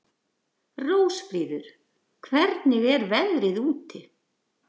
Rósfríður, hvernig er veðrið úti?